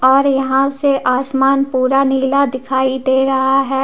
और यहां से आसमान पूरा नीला दिखाई दे रहा है।